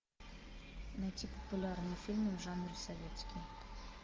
найти популярные фильмы в жанре советский